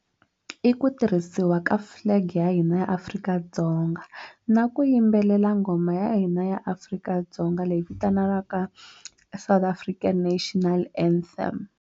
I ku tirhisiwa ka flag ya hina ya Afrika-Dzonga na ku yimbelela nghoma ya hina ya Afrika-Dzonga leyi vitanaka South African national anthem.